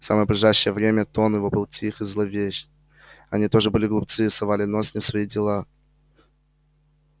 и в самое ближайшее время тон его был тих и зловещ они тоже были глупцы совали нос не в свои дела